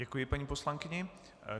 Děkuji paní poslankyni.